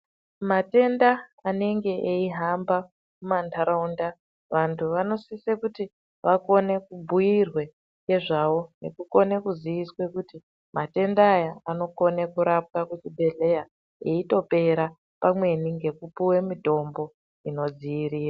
Matenda anenge eihamba mumantaraunda vantu vanosise kuti vakone kubhuyirwe nezvawo nekukone kuziiswa kuti matenda aya anokone kurapwa kuzvibhedhleya eitopera pamweni ngekupuwe mitombo inodziirira.